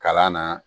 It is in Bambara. Kalan na